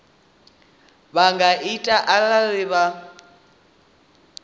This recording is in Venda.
vha nga ita arali vha